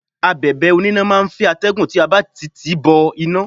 Abẹ̀bẹ̀ oníná máà ń fẹ́ atẹ́gùn tí a bá ti tìí bọ iná.